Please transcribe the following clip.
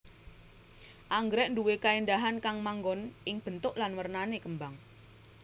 Anggrèk nduwé kaéndahan kang manggon ing bentuk lan wernané kembang